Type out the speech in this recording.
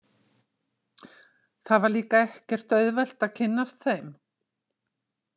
Það var líka ekkert auðvelt að kynnast þeim.